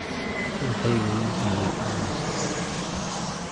Ruuxaygu wuu diiday inuu nasto